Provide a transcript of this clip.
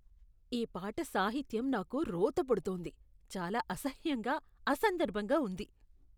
ఈ పాట సాహిత్యం నాకు రోత పుడుతోంది. చాలా అసహ్యంగా, అసందర్భంగా ఉంది.